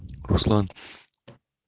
руслан